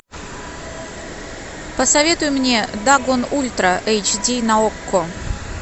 посоветуй мне дагон ультра эйч ди на окко